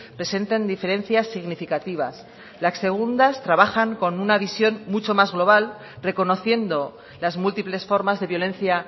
presentan diferencias significativas las segundas trabajan con una visión mucho más global reconociendo las múltiples formas de violencia